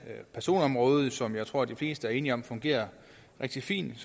personområdet som jeg tror de fleste er enige om fungerer rigtig fint